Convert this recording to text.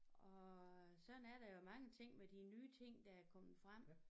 Og sådan er det med mange ting med de nye ting der er kommet frem